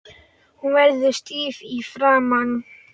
Hún verður stíf í framan.